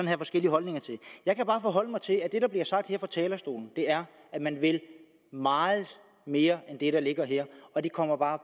have forskellige holdninger til jeg kan bare forholde mig til at det der bliver sagt her fra talerstolen er at man vil meget mere end det der ligger her og det kommer bare